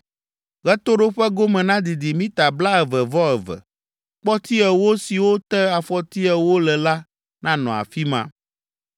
Ɣetoɖoƒe gome nadidi mita blaeve-vɔ-eve. Kpɔti ewo siwo te afɔti ewo le la nanɔ afi ma.